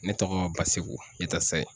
Ne tɔgɔ BASEKU YATASAYI.